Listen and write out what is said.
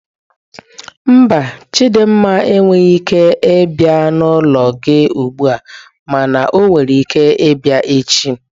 Mba, Chidinma enweghị ike ịbia n'ụlọ gị ugbu a mana ọ nwere ike ịbịa echi.